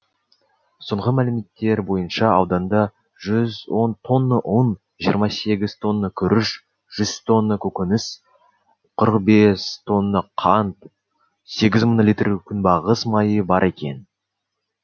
соңғы мәліметтер бойынша ауданда жүз он тонна ұн жиырма сегіз тонна күріш жүз тонна көкөніс қырық бес тонна қант сегіз мың литр күнбағыс майы бар екен